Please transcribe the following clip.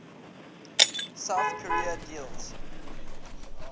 south korea deals